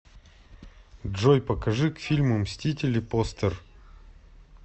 джой покажи к фильму мстители постер